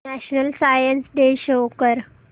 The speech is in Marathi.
नॅशनल सायन्स डे शो कर